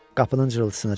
Qapının cırıltısına döndü.